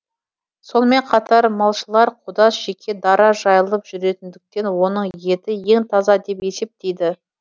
сонымен қатар малшылар қодас жеке дара жайылып жүретіндіктен оның еті ең таза деп есептейді